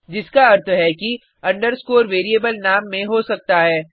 जिसका अर्थ है कि अंडरस्कोर वेरिएबल नाम में हो सकता है